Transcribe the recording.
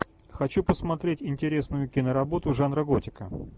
хочу посмотреть интересную киноработу жанра готика